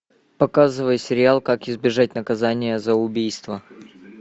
показывай сериал как избежать наказание за убийство